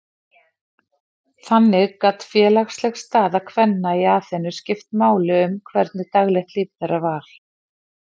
Þannig gat félagsleg staða kvenna í Aþenu skipt máli um hvernig daglegt líf þeirra var.